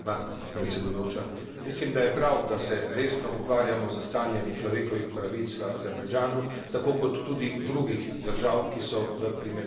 Mislim, da je prav, da se resno ukvarjamo s stanjem človekovih pravic v Azerbajdžanu, tako kot tudi v drugih državah, ki so v primerljivem statusu.